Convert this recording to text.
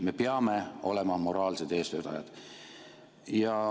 Me peame olema moraalsed eestvedajad.